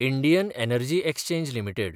Indian Energy Exchange limited